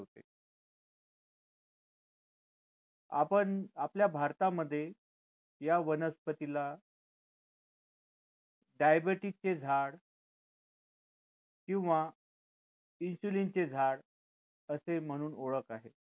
आपण आपल्या भारतामध्ये या वनस्पतीला diabetes चे झाड किंवा insulin चे झाड असे म्हणून ओळख आहे